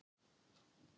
Halda þau jólin saman?